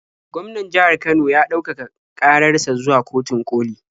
Gwaman jihar Kano ya ɗaukaka ƙarar sa zuwa kotun ƙoli.